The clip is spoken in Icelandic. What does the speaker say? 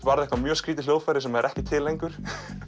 varð eitthvað mjög skrítið hljóðfæri sem er ekki til lengur